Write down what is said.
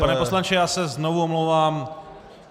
Pane poslanče, já se znovu omlouvám.